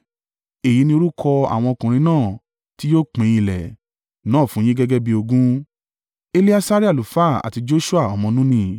“Èyí ni orúkọ àwọn ọkùnrin náà tí yóò pín ilẹ̀, náà fún yín gẹ́gẹ́ bí ogún: Eleasari àlùfáà àti Joṣua ọmọ Nuni.